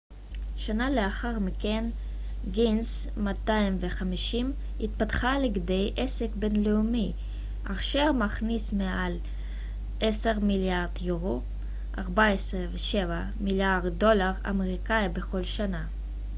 250 שנה לאחר מכן גינס התפתחה לכדי עסק בינלאומי אשר מכניס מעל 10 מיליארד יורו 14.7 מיליארד דולר אמריקאי בכל שנה